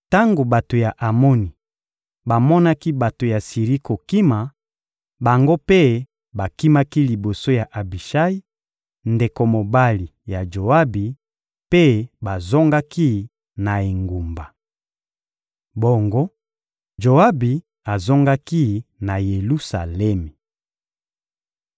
Tango bato ya Amoni bamonaki bato ya Siri kokima, bango mpe bakimaki liboso ya Abishayi, ndeko mobali ya Joabi, mpe bazongaki na engumba. Bongo, Joabi azongaki na Yelusalemi.